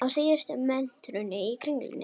Á síðustu metrunum í Kringlunni